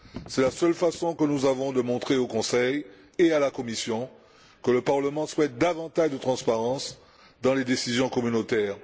C'est la seule façon que nous avons de montrer au Conseil et à la Commission que le Parlement souhaite davantage de transparence dans les décisions communautaires.